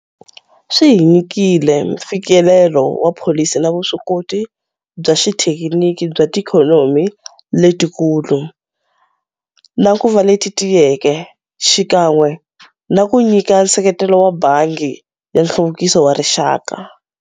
Swi hi nyikile mfikelelo wa pholisi na vuswikoti bya xithekiniki bya tiikhonomi letikulu na ku va leti tiyeke, xikan'we na ku nyika nseketelo wa Bangi ya Nhluvukiso wa Rixaka.